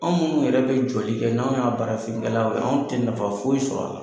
Anw munnu yɛrɛ bɛ jɔli kɛ n'anw y'a baarafinkɛlaw ye, anw tɛ nafa foyi sɔr'a la.